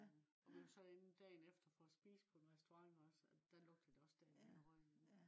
og vi var så derinde dagen efter for at spise på en restaurant også og at der lugtede det også stadig af røg inde